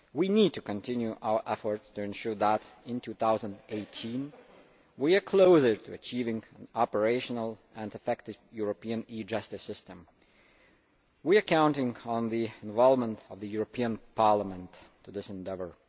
We need to continue our efforts to ensure that in 2018 we are closer to achieving an operational and effective European e Justice system. We are counting on the involvement of the European Parliament in this endeavour.